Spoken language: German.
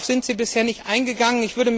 Darauf sind Sie bisher nicht eingegangen.